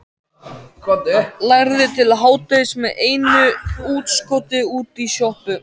Lærði til hádegis með einu útskoti út í sjoppu.